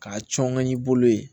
K'a cɔn ŋa y'i bolo yen